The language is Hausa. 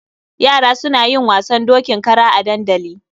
Yara suna yin wasan dokin kara a dandali.